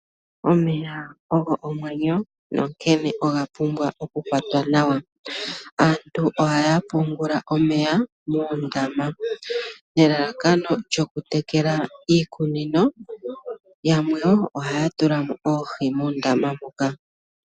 Omeya ogo omwenyo nankene oga pumbwa oku kwatwa nawa, aantu ohaya pungula omeya muundama nelalakano lyoku tekela iikunino, yamwe wo ohaya tula mo oohi muundama mbuka.